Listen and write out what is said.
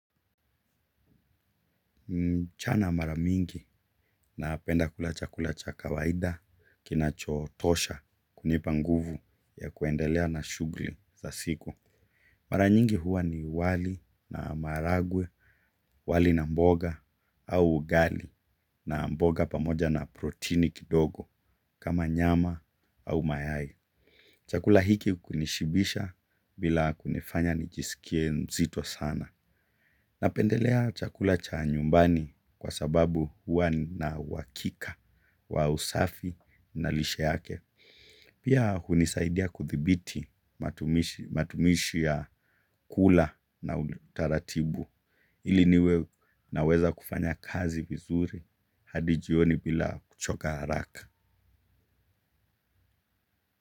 Mchana maramingi napenda kula chakula chakawaida kinachotosha kunipanguvu ya kuendelea na shughuli za siku. Maranyingi huwa ni wali na maharagwe, wali na mboga au ugali na mboga pamoja na proteini kidogo kama nyama au mayai. Chakula hiki kunishibisha bila kunifanya nijisikie mzito sana. Napendelea chakula cha nyumbani kwa sababu huwa na uhakika wa usafi na lishe yake. Pia hunisaidia kudhibiti matumishi ya kula na utaratibu. Iliniwe naweza kufanya kazi vizuri hadi jioni bila kuchoka haraka.